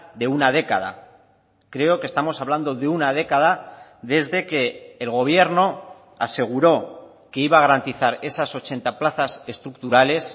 de una década creo que estamos hablando de una década desde que el gobierno aseguró que iba a garantizar esas ochenta plazas estructurales